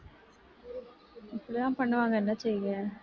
இப்படித்தான் பண்ணுவாங்க என்ன செய்ய